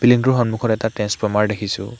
Building টোৰ সন্মুখত এটা ট্ৰেন্ছফৰ্মাৰ দেখিছোঁ।